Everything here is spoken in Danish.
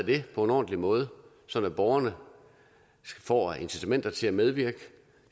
det på en ordentlig måde sådan at borgerne får incitamenter til at medvirke